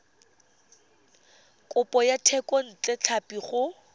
kopo ya thekontle tlhapi go